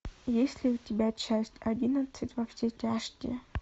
есть ли у тебя часть одиннадцать во все тяжкие